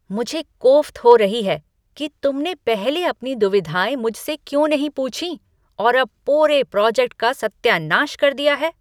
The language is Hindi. मुझे कोफ्त हो रही है कि तुमने पहले अपनी दुविधाएँ मुझसे क्यों नहीं पूछीं और अब पूरे प्रोजेक्ट का सत्यानाश कर दिया है।